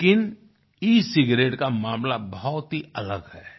लेकिन e cigarette का मामला बहुत ही अलग है